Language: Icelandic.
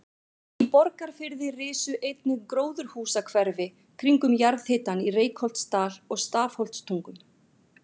Í Borgarfirði risu einnig gróðurhúsahverfi kringum jarðhitann í Reykholtsdal og Stafholtstungum.